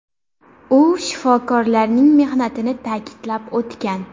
U shifokorlarning mehnatini ta’kidlab o‘tgan.